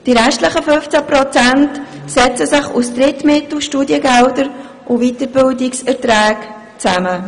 Die restlichen 15 Prozent setzen sich aus Drittmitteln, Studiengeldern und Weiterbildungserträgen zusammen.